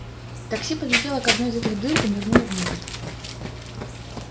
такси подлетело к одной из этих дыр и нырнуло внутрь